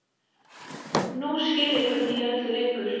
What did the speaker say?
Nú skil ég hvernig í öllu liggur.